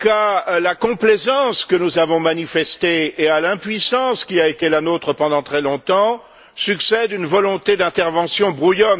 qu'à la complaisance que nous avons manifestée et à l'impuissance qui a été la nôtre pendant très longtemps succède une volonté d'intervention brouillonne dont les effets pervers seraient immédiatement perceptibles.